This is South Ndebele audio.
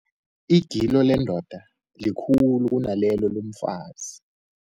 Igilo lendoda likhulu kunalelo lomfazi.